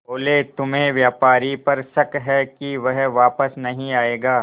बोले तुम्हें व्यापारी पर शक है कि वह वापस नहीं आएगा